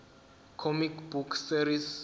comic book series